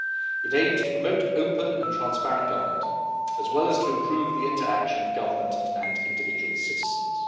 It aims to promote open and transparent government, as well as to improve the interaction of government and individual citizens.